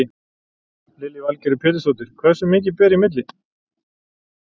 Lillý Valgerður Pétursdóttir: Hversu mikið ber í milli?